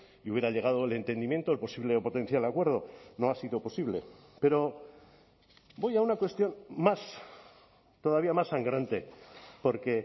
y hubiera llegado el entendimiento el posible potencial acuerdo no ha sido posible pero voy a una cuestión más todavía más sangrante porque